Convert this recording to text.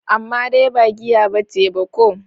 Amma dai ba giya bace ba ko?